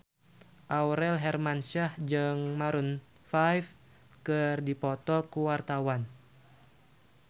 Aurel Hermansyah jeung Maroon 5 keur dipoto ku wartawan